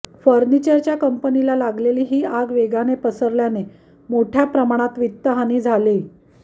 फर्निचरच्या कंपनीला लागलेली ही आग वेगाने पसरल्याने मोठ्या प्रमाणात वित्तहानी झालीय